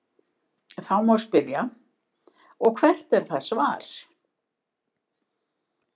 Þá má spyrja: Og hvert er það svar?.